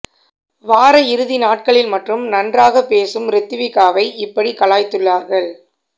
வார இறுதி நாட்களில் மட்டும் நன்றாக பேசும் ரித்விகாவை இப்படி கலாய்த்துள்ளார்கள்